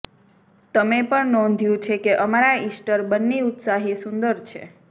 તમે પણ નોંધ્યું છે કે અમારા ઇસ્ટર બન્ની ઉત્સાહી સુંદર છે